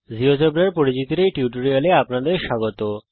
জীয়োজেব্রার পরিচিতির এই টিউটোরিয়াল এ আপনাদের স্বাগত জানাই